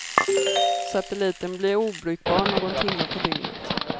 Satelliten blir obrukbar någon timme på dygnet.